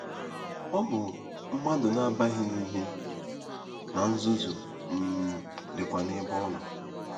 Ọ bụ “mmadụ na-abaghị n’ihe,” na ‘nzuzu um dịkwa n’ebe ọ nọ.’